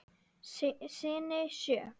Syni sjö.